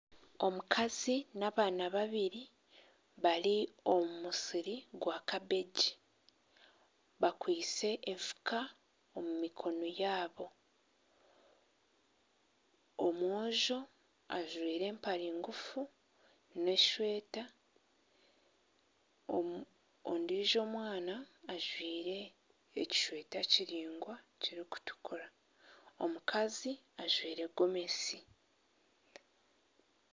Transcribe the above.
Omukazi n'abaana babiri bari omu musiri gwa kabegi bakwaitse enfuka omu mikono yaabo omwojo ajwaire empare ngufu n'esweta ondiijo omwana ajwaire ekisweta kiraingwa kirikutukura omukazi ajwaire gomesi